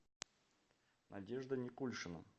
надежда никульшина